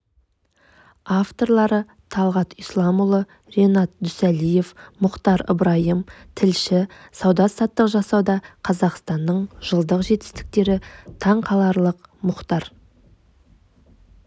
авторлары талғат исламұлы ренат дүсәлиев мұхтар ыбырайым тілші сауда-саттық жасауда қазақстанның жылдық жетістіктері таң қаларлық мұхтар